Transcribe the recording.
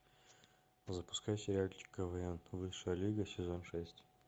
запускай сериальчик квн высшая лига сезон шесть